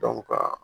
ka